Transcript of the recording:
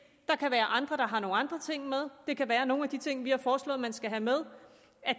der kan være andre der har nogle andre ting med det kan være at nogle af de ting vi har foreslået man skal have med